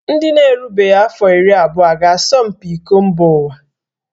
Ndị na-erubeghị afọ iri abụọ a ga-asọ mpi iko mba ụwa?